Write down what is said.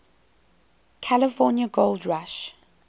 california gold rush